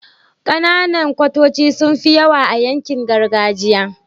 Kananan kwatoci sunfi yawa a yankin gargajiya